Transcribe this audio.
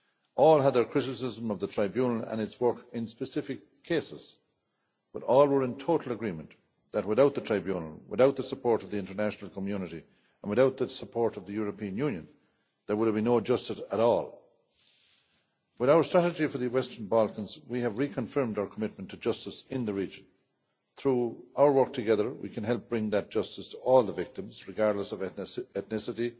All had their criticisms of the Tribunal and its work in specific cases, but all were in total agreement that without the Tribunal, without the support of the international community and without the support of the European Union, there would have been no justice at all. With our strategy for the Western Balkans we have reconfirmed our commitment to justice in the region. Through our work together we can help bring that justice to all the victims regardless of ethnicity,